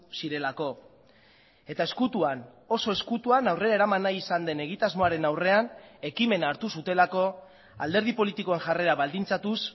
zirelako eta ezkutuan oso ezkutuan aurrera eraman nahi izan den egitasmoaren aurrean ekimena hartu zutelako alderdi politikoen jarrera baldintzatuz